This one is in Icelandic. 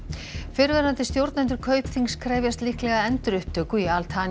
fyrrverandi stjórnendur Kaupþings krefjast líklega endurupptöku í Al